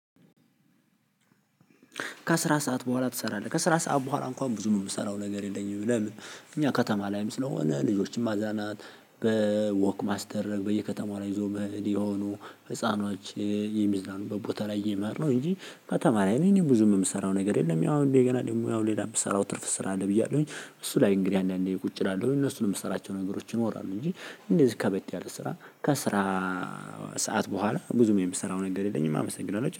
ከስራ ሰዓት በኋላ ትሰራለህ ከስራ ሰዓት በኋላ እንኳን ብዙ ነው የምሰራው ነገር የለኝም። ለምን እኛ ከተማ ላይም ስለሆነ ልጆችን ማዛናት በወክ ማስደረግ በየከተማው ላይ ይዞ መሄድ የሆኑ ህፃኖች የሚዝናኑ በቦታ ላይ እየመራሁ ነው። ከተማ ላይ እኔ ብዙም የምሰራው ነገር የለም። ያው እንዴ ገና ደግሞ ያው ሌላ የምሰራው ትርፍ ስራ አለ። ብያለሁኝ እንጂ እሱ ላይ እንግዲህ አንዳንዴ ቁጭ እላለሁ እነሱን የምሰራቸው ነገሮችን እንወራለን እንጂ። እንደዚህ ከበድ ያለ ስራ ከስራ። ሰዓት በኋላ ብዙም የምሰራው ነገር የለኝም። አመሰግናለሁ